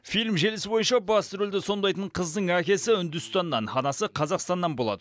фильм желісі бойынша басты рөлді сомдайтын қыздың әкесі үндістаннан анасы қазақстаннан болады